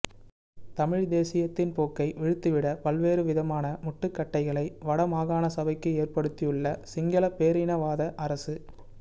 தமிழ் தேசியத்தின் போக்கை விழுத்தி விட பல்வேறு விதமான முட்டுக்கட்டைகளை வடமாகாண சபைக்கு ஏற்படுத்தியுள்ள சிங்கள பேரினவாத அரசு